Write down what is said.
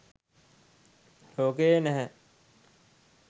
ලෝකයේ නැහැ.